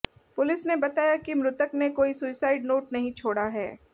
police ने बताया कि मृतक ने कोई सुसाइड नोट नहीं छोड़ा है